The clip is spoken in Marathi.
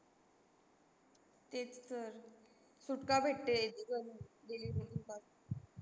ते तर सुटका भेटते.